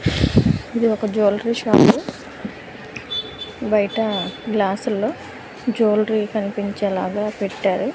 ఇది ఒక jewellery shop బయట గ్లాసుల్లో జువెలరీ కనిపించే లాగా పెట్టారు.